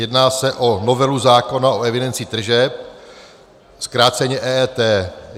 Jedná se o novelu zákona o evidenci tržeb, zkráceně EET.